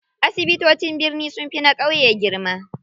Asibitocin birni sunfi na ƙauye girma.